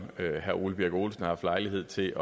herre ole birk olesen har haft lejlighed til